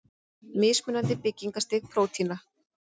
Mismunandi byggingarstig prótína.